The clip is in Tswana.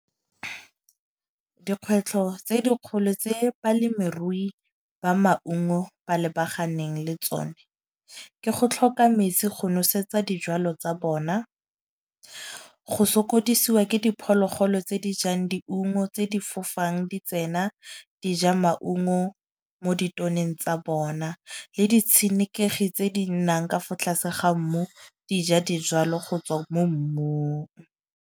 Dikgwetlho tse dikgolo tse balemirui ba maungo ba lebaganeng le tsone, ke go tlhoka metsi go nosetsa dijwalo tsa bona. Go sokodisiwa ke diphologolo tse di jang diungo tse di fofang di tsena, di ja maungo mo ditoneng tsa bona le ditshenekegi tse di nnang ka fa tlase ga mmu dija dijwalo go tswa mo mmung.